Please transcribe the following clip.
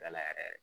Da la yɛrɛ